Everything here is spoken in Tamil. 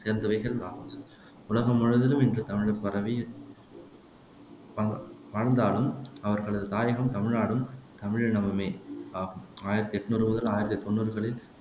உலகம் முழுவதிலும் இன்று தமிழர் பரவி வா வாழ்ந்தாலும் அவர்களது தாயகம் தமிழ்நாடும், தமிழீழமுமே ஆகும் ஆயிரத்தி எட்ணூறு முதல் ஆயிரத்தி தொண்ணூறுகளில்